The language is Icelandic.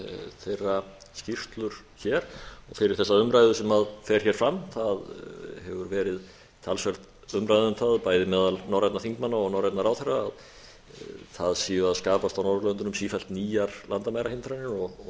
þeirra skýrslur hér og fyrir þessa umræðu sem fer hér fram það hefur verið talsverð umræða um það bæði meðal norrænna þingmanna og norrænna ráðherra að það séu að skapast á norðurlöndunum sífellt nýjar landamærahindranir og það